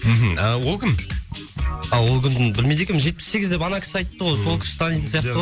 мхм ы ол кім а ол білмейді екенмін жетпіс сегіз деп ана кісі айтты ғой сол кісі танитын сияқты ғой